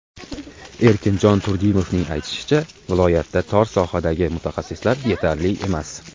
Erkinjon Turdimovning aytishicha, viloyatda tor sohadagi mutaxassislar yetarli emas.